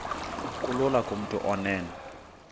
kulula kumntu onen